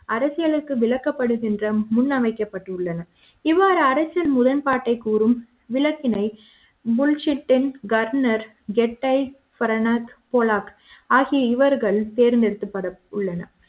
அரசியலுக்கு விளக்க ப்படுகின்றன முன்வைக்கப்பட்டுள்ளன இவ்வாறு அரசியல் முறன்பாட்டை கூறும் விளக்கினை புல்ஷிட்ன் கர்ணர் கெட்டஃபிரண்ட்ஸ் கோலாக் ஆகிய இவர்கள் தேர்ந்தெடுக்கப்பட உள்ளனர்